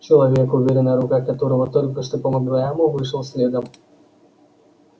человек уверенная рука которого только что помогла ему вышел следом